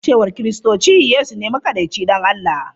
A cewar Kiristoci, Yesu ne makaɗaici ɗan Allah.